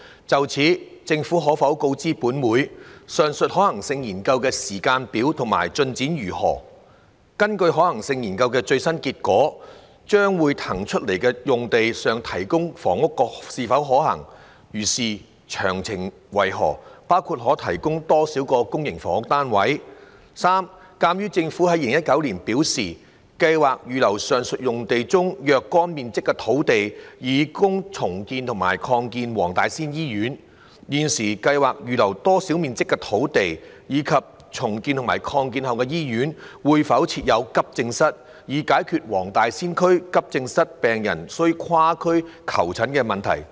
就此，政府可否告知本會：一上述可行性研究的時間表及進展為何；二根據可行性研究的最新結果，在將會騰空出來的用地上提供房屋是否可行；如是，詳情為何，包括可提供多少個公營房屋單位；及三鑒於政府在2019年表示，計劃預留上述用地中若干面積的土地以供重建和擴建黃大仙醫院，現時計劃預留多少面積的土地，以及重建和擴建後的醫院會否設有急症室，以解決黃大仙區急症病人需跨區求診的問題？